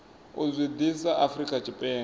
u zwi ḓisa afrika tshipembe